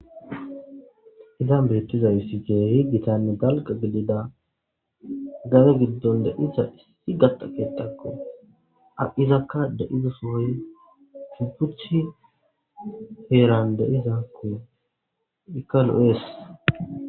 izan beettiza hissite higitanne dalqa gidida gage giddon deiza issi gaxakeetakko a7izakka de7iza sooy supucthi heeran deizakko ikalo7ees